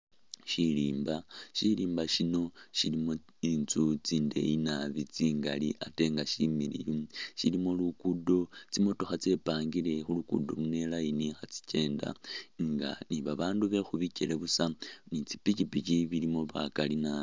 Shirimba, shirimba shino shilimo intsu tsindeyi naabi tsingali atenga shimiliyu shilimo lugudo tsimotokha tsepangile khulugudo luno i'line khatsikyenda inga nibabandu bekhubikyele busa nitsipikipiki bilimo bakali maabi.